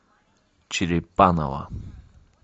черепаново